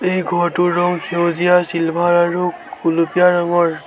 এই ঘৰটোৰ ৰং সেউজীয়া চিলভাৰ আৰু গুলপীয়া ৰঙৰ।